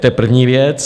To je první věc.